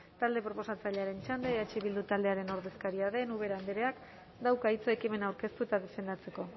talde proposatzailearen txanda eh beldu taldearen ordezkaria den ubera andreak dauka hitza ekimena aurkeztu eta defendatzeko